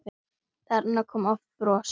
Þarna kom oft bros.